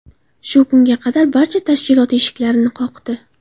Shu kunga qadar barcha tashkilot eshiklarini qoqdi.